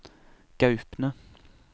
Gaupne